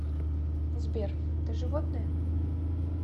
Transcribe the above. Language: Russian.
сбер ты животное